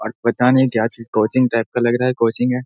और पता नहीं क्‍या चीज कोंचिग टाईप का लग रहा है कोंचिग हैं।